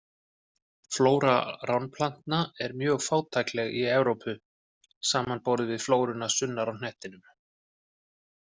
Flóra ránplantna er mjög fátækleg í Evrópu, samanborið við flóruna sunnar á hnettinum.